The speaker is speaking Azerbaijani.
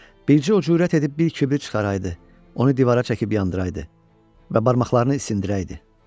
Bircə o cürət edib bir kibrit çıxaraydı, onu divara çəkib yandıraydı və barmaqlarını isindirəydi.